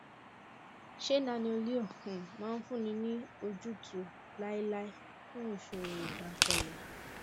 ṣé nanoleo um máa fúnni ní ojútùú láéláé fún ìṣòro ìdákọlẹ